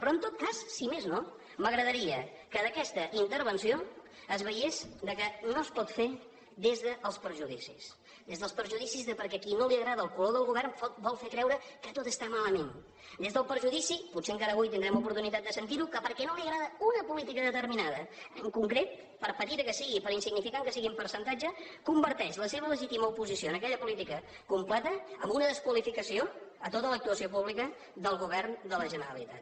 però en tot cas si més no m’agradaria que d’aquesta intervenció es veiés que no es pot fer des dels prejudicis des dels prejudicis de qui perquè no li agrada el color del govern vol fer creure que tot està malament des del prejudici potser encara avui tindrem oportunitat de sentirho que perquè no li agrada una política determinada en concret per petita que sigui i per insignificant que sigui en percentatge converteix la seva legítima oposició a aquella política contreta en una desqualificació a tota l’actuació pública del govern de la generalitat